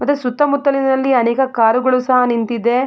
ಮತ್ತೆ ಸುತ್ತ ಮುತ್ತಲಿನಲ್ಲಿ ಅನೇಕ ಕಾರುಗಳು ಸಹ ನಿಂತಿದೆ.